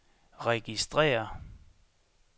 registrér